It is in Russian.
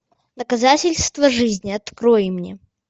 доказательство жизни открой мне